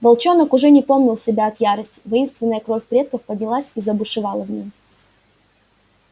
волчонок уже не помнил себя от ярости воинственная кровь предков поднялась и забушевала в нём